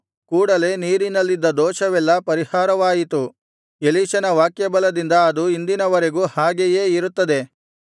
ಕೂಡಲೆ ನೀರಿನಲ್ಲಿದ್ದ ದೋಷವೆಲ್ಲಾ ಪರಿಹಾರವಾಯಿತು ಎಲೀಷನ ವಾಕ್ಯಬಲದಿಂದ ಅದು ಇಂದಿನವರೆಗೂ ಹಾಗೆಯೇ ಇರುತ್ತದೆ